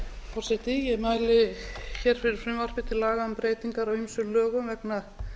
forseti ég mæli hér fyrir frumvarpi til laga um breytingar á ýmsum lögum vegna